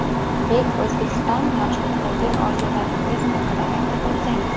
Bek Uzbekistan Yoshlikdagi orzularingiz haqida aytib o‘tsangiz.